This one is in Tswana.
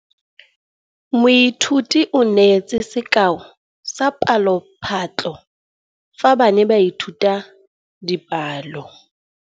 Moithuti o neetse sekaô sa palophatlo fa ba ne ba ithuta dipalo.